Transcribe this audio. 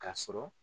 K'a sɔrɔ